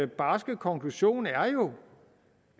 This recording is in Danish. barske konklusion er jo